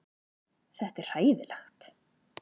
Þetta er hræðilegt